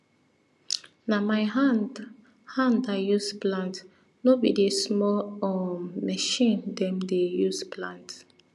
na my hand hand i use plant no be di small um machine dem dey use plant